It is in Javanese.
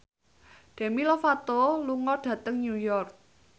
Demi Lovato lunga dhateng New York